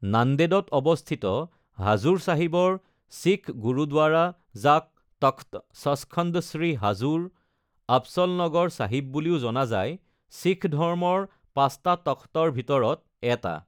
নান্দেদত অৱস্থিত, হাজুৰ চাহিবৰ শিখ গুৰুদ্বাৰা, যাক তখ্ট সচখণ্ড শ্ৰী হাজুৰ আবচলনগৰ চাহিব বুলিও জনা যায়, শিখ ধৰ্মৰ পাঁচটা তখ্টৰ ভিতৰত এটা।